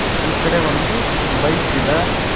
ಈ ಕಡೆ ಒಂದು ಬೈಕ್ ಇದೆ.